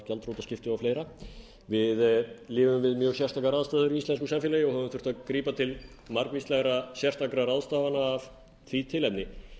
gjaldþrotaskipti og fleira við lifum við mjög sérstakar aðstæður í íslensku samfélagi og höfum þurft að grípa til margvíslegra sérstakra ráðstafana af því tilefni